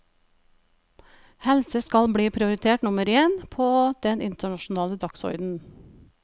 Helse skal bli prioritet nummer én på den internasjonale dagsorden.